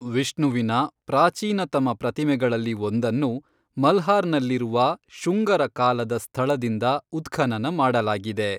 ವಿಷ್ಣುವಿನ ಪ್ರಾಚೀನತಮ ಪ್ರತಿಮೆಗಳಲ್ಲಿ ಒಂದನ್ನು ಮಲ್ಹಾರ್ನಲ್ಲಿರುವ ಶುಂಗರ ಕಾಲದ ಸ್ಥಳದಿಂದ ಉತ್ಖನನ ಮಾಡಲಾಗಿದೆ.